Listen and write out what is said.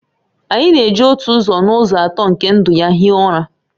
Anyi na-eji otu ụzọ n'ụzọ atọ nke ndụ ya hie ụra